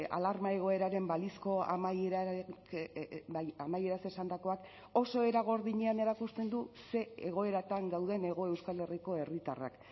alarma egoeraren balizko amaieraz esandakoak oso era gordinean erakusten du ze egoeratan gauden hego euskal herriko herritarrak